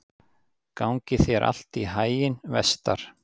Gangi þér allt í haginn, Vestar.